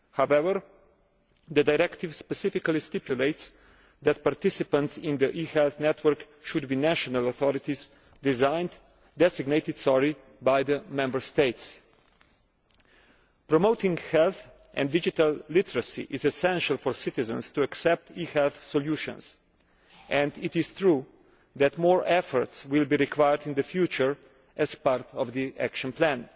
However, the Directive superficially stipulates that participants in the e health network should be national authorities designated by the Member States. Promoting health and digital literacy is essential if citizens are to accept e health solutions, and it is true that greater efforts will be required in the future as part of the action plan.